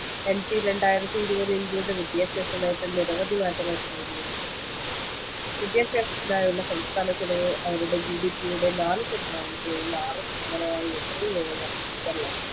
NP രണ്ടായിരത്തിഇരുപത് ഇന്ത്യയുടെ വിദ്യാഭ്യാസ നയത്തിൽ നിരവവധി മാറ്റങ്ങൾക്ക് വഴിയൊരുക്കുന്നു വിദ്യാഭ്യാസത്തിനായുള്ള സംസ്ഥാന ചെലവ് അവരുടെ GDP യുടെ നാല് ശതമാനത്തിൽ നിന്ന് ആറ് ശതമാനമായി എത്രയും വേഗം വർദ്ധിപ്പിക്കാൻ ലക്ഷ്യമിടുന്നു